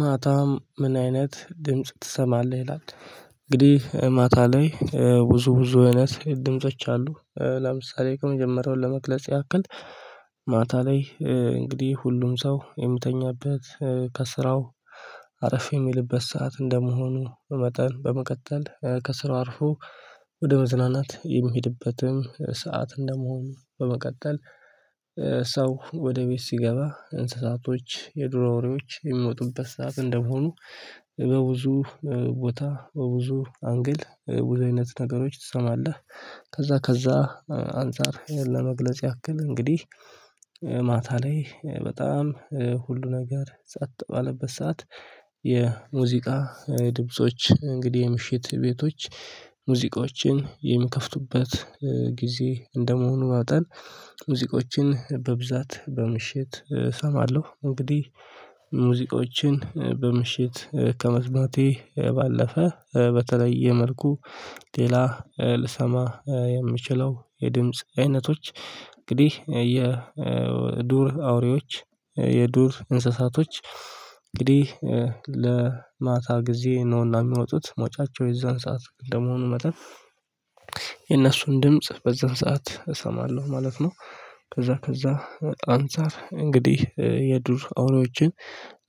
ማታም ምን አይነት ድምጽ ትሰማለህ ይላል? እንግዲህ ማታ ላይ ብዙ አይነት ድምጾች አሉ። ለምሳሌ ከመጀመሪያው ለመግለጽ ያክል። ማታ ላይ እንግዲህ ሁሉም ሰው የሚተኛበት ከስራው አረፍ የሚልበት ሰዓት እንደመሆኑ በመጠን በመቀጠል ከስራው አርፎ ወደ መዝናናት የሚሄድበትም ሰዓት እንደመሆኑ በመቀጠል። ሰው ወደ ቤት ሲገባ እንስሳቶች የዱራ ወሬዎች የሚወጡበት ሳቅ እንደመሆኑ በብዙ ቦታ በብዙ አንግል ብዙ አይነት ነገሮች ትሰማለህ። ከዛ ከዛ አንፃር ለመግለጽ ያክል እንግዲህ ማታ ላይ በጣም ሁሉ ነገር ጸጥ ባልበት ሰዓት። የሙዚቃ ድምጾች እንግዲህ የምሽት ቤቶች ሙዚቃዎችን የሚከፍቱበት ጊዜ እንደመሆኑ መጠን ሙዚቆችን በብዛት በምሽት እሰማለሁ እንግዲህ። ሙዚቆችን በምሽት ከመስማቴ ባለፈ በተለየ መልኩ ሌላ ልሰማ የምችለው የድምጽ አይነቶች እንግዲህ የዱር አውሬዎች የዱር እንስሳቶች እንግዲህ ለማታ ጊዜ ነውና እሚወጡት መውጫቸው የዛን ሰዓት እንደመሆኑ መጠን የእነሱን ድምጽ በዛን ሰዓት እሰማለሁ ማለት ነው። ከዛ ከዛ አንፃር እንግዲህ የዱር አውሬዎችን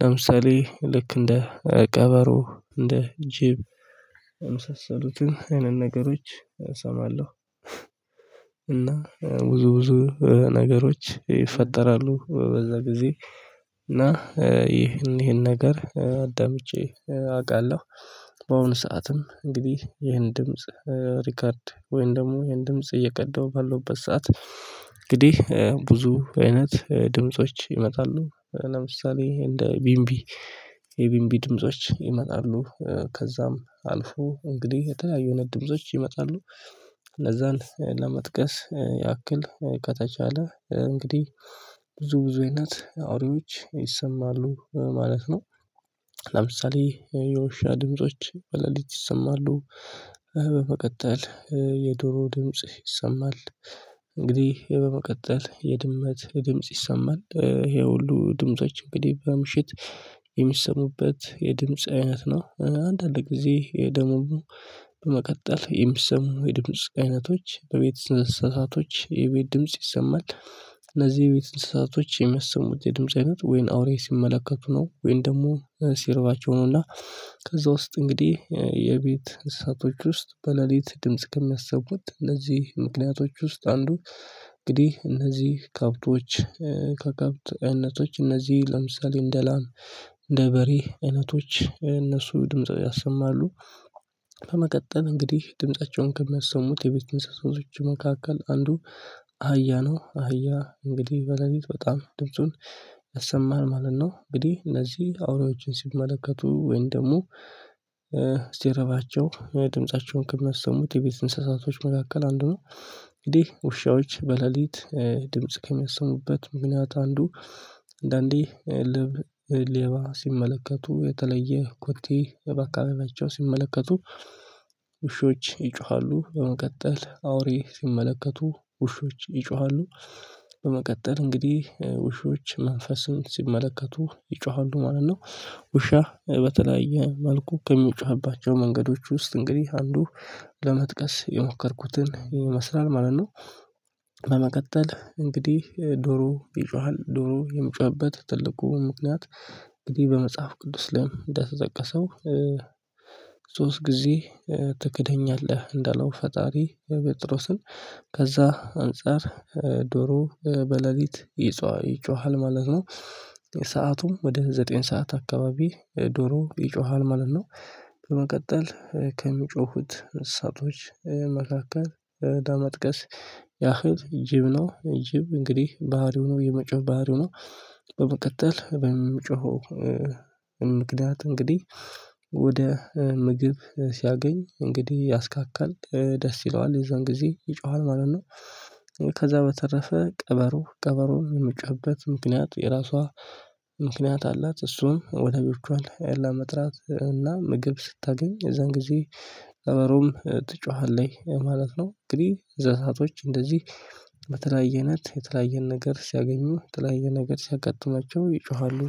ለምሳሌ ልክ እንደ ቀበሮ እንደ ጅብ የምሰሰሉትን አይነት ነገሮች እሰማለሁ። እና ብዙ ብዙ ነገሮች ይፈጠራሉ በዛ ጊዜ እና ይህን ይህን ነገር አዳምጬ አውቃለሁ። በአሁኑ ሰዓትም እንግዲህ ይሄን ድምጽ ሪከርድ ወይም ደግሞ ይሄን ድምጽ እየቀደው በሉበት ሰዓት እንግዲህ ብዙ አይነት ድምጾች ይመጣሉ ለምሳሌ እንደ ቢምቢ የቢምቢ ድምጾች ይመጣሉ ከዛም አልፎ እንግዲህ የተለያዩ ነው ድምጾች ይመጣሉ። እነዛን ለመጥቀስ ያክል ከተቻለ እንግዲህ ብዙ ብዙ አይነት አውሬዎች ይሰማሉ ማለት ነው። ለምሳሌ የውሻ ድምጾች በለሊት ይሰማሉ። በመቀጠል የዶሮ ድምጽ ይሰማል እንግዲህ በመቀጠል የድመት የድምጽ ይሰማል ይሄ ሁሉ ድምጾች እንግዲህ በምሽት የሚሰሙበት የድምጽ አይነት ነው አንዳንድ ለጊዜ ደሞ በመቀጠል የሚሰሙ የድምጽ አይነቶች በቤት እንስሳቶች የቤት ድምጽ ይሰማል። እነዚህ የቤት እንስሳቶች የሚያሰሙት የድምጽ አይነት ወይ አውሬ ሲመለከቱ ነው ወይ ደግሞ ሲርባቸው ነው። እና ከዛ ውስጥ እንግዲህ የቤት እሳቶች ውስጥ በሌሊት ድምጽ ከሚያስቡት እነዚህ ምክንያቶች ውስጥ አንዱ እንግዲህ እነዚህ ከአብቶች ከከብት አይነቶች እነዚህ ለምሳሌ እንደ ላም እንደ በሬ እይነቶች እነሱ ድምጽ ያሰማሉ። በመቀጠል እንግዲህ ድምፃቸውን ከሚያሰሙት የቤት እንስሳቶች መካከል አንዱ አህያ ነው አህያ እንግዲህ በሌሊት በጣም ድምጹን ያሰማል ማለት ነው። እንግዲህ እነዚህ አውሬዎችን ሲመለከቱ ወይን ደግሞ ሲረባቸው ድምፃቸውን ከሚያሰሙት የቤት እንስሳቶች መካከል አንዱ ነው። እንግዲህ ውሻዎች በሌሊት ድምጽ ከሚያሰሙበት ምክንያት አንዱ አንዳንዴ ሌባ ሲመለከቱ የተለየ ኩቲ በአካባቢያቸው ሲመለከቱ ውሾች ይጮሃሉ በመቀጠል አውሬ ሲመለከቱ ውሾች ይጮሃሉ። በመቀጠል እንግዲህ ውሾች መንፈስን ሲመለከቱ ይጮሃሉ ማለት ነው። ውሻ በተለያየ መልኩ ከሚጮህባቸው መንገዶች ውስጥ እንግዲህ አንዱ ለመጥቀስ የሞከርኩትን ይመስላል ማለት ነው። በመቀጠል እንግዲህ ዶሮ ይጮሃል ዶሮ የሚጮህበት ትልቁ ምክንያት እንግዲህ በመጽሐፍ ቅዱስ ላይም እንደተጠቀሰው። ሶስት ጊዜ ትክደኛለህ እንዳለው ፈጣሪ ቤትሮስን ከዛ አንፃር ዶሮ በሌሊት ይጮሃል ማለት ነው። ሰአቱም ወደ ዘጠኝ ሰዓት አካባቢ ዶሮ ይጮሃል ማለት ነው። በመቀጠል ከሚጮሁት እሳቶች መካከል ለመጥቀስ ያህል ጅብ ነው ጅብ እንግዲህ ባህሪው ነው የመጮህ ባህሪው ነው። በመቀጠል በመጮሁ ምክንያት እንግዲህ ወደ ምግብ ሲያገኝ እንግዲህ ያስካክል ደስ ይለዋል የዛን ጊዜ ይጮሃል ማለት ነው። ከዛ በተረፈ ቀበሮ ቀበሮ የምትጮህበት ምክንያት የራሷ ምክንያት አላት እሱም ወዳጆቿን ለመጥራት እና ምግብ ስታገኝ የእዛን ጊዜ ቀበሮም ትጮሃለች ማለት ነው። እንግዲህ እነሰስሳቶች እንደዚህ የተለያየን ነገር ሲያገኙ የተለያየ ነገር ሲያቀጥማቸው ይጮሃሉ።